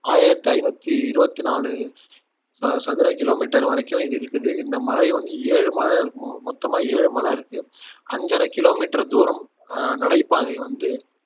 ஆயிரத்தி ஐநூத்தி இருவத்தி நாலு அஹ் சதுர கிலோமீட்டர் வரைக்கும் இது இருக்குது இந்த மலை வந்து ஏழு மலை இருக்கு மொ மொத்தமா ஏழு மலை இருக்கு அஞ்சரை கிலோமீட்டர் தூரம் அஹ் நடைபாதை வந்து